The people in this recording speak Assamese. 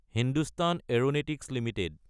Hindustan aeronautics Ltd